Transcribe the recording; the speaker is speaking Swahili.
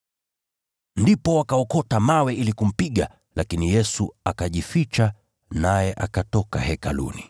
Ndipo wakaokota mawe ili kumpiga, lakini Yesu akajificha, naye akatoka Hekaluni.